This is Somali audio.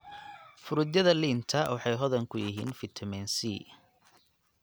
Fruityada liinta waxay hodan ku yihiin fitamiin C.